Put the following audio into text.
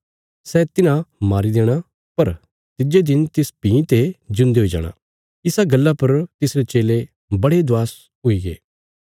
सै तिन्हां मारी देणा पर तिज्जे दिन तिस भीं ते ज्यून्दे हुई जाणा इसा गल्ला पर तिसरे चेले बड़े दवास हुईगे